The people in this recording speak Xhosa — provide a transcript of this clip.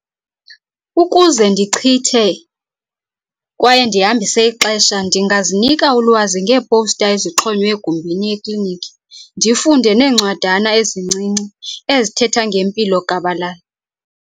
Ukuze ndichithe kwaye ndihambise ixesha ndingazinika ulwazi ngeepowusta ezixhonyiweyo egumbini ekliniki ndifunde neencwadana ezincinci ezithetha ngempilo gabalala.